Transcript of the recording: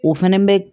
O fɛnɛ bɛ